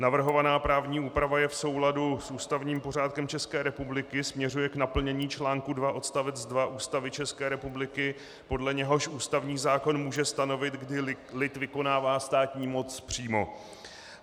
Navrhovaná právní úprava je v souladu s ústavním pořádkem České republiky, směřuje k naplnění článku 2 odst. 2 Ústavy české republiky, podle něhož ústavní zákon může stanovit, kdy lid vykonává státní moc přímo.